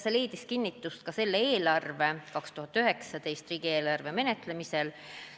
See leidis kinnitust ka selle eelarve, 2019. aasta riigieelarve menetlemisel,